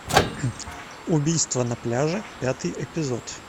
убийство на пляже пятый эпизод